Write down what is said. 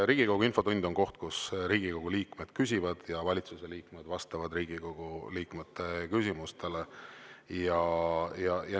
Riigikogu infotund on koht, kus Riigikogu liikmed küsivad ja valitsuse liikmed vastavad Riigikogu liikmete küsimustele.